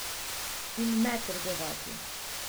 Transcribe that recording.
In ne trgovati.